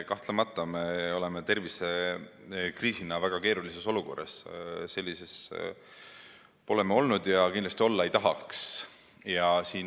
Kahtlemata me oleme tervisekriisi tõttu väga keerulises olukorras, sellises pole me varem olnud ja kindlasti olla ei taha.